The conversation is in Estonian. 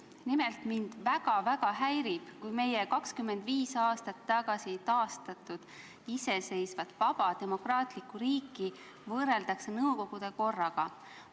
Nimelt, mind väga-väga häirib, kui meie 25 aastat tagasi taastatud iseseisvat, vaba, demokraatlikku riiki võrreldakse sellega, mis oli nõukogude korra ajal.